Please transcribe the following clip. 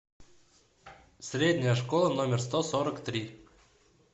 средняя школа номер сто сорок три